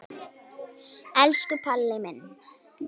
Elsku Palli minn.